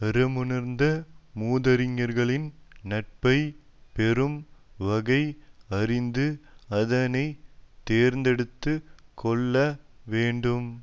அறமுணர்ந்த மூதறிஞர்களின் நட்பை பெறும் வகை அறிந்து அதனை தேர்ந்தெடுத்து கொள்ள வேண்டும்